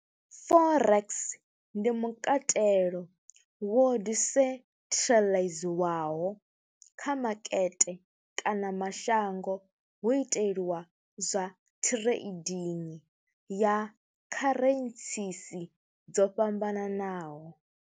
Forex ndi mukatelo wo disentharaḽaiziwaho kha makete kana mashango hu iteliwa zwa trading ya kharentsisi dzo fhambananaho.